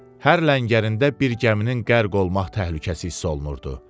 Hər ləngərində bir gəminin qərq olmaq təhlükəsi hiss olunurdu.